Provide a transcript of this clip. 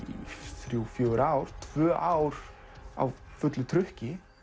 þrjú til fjögur ár tvö ár á fullu trukki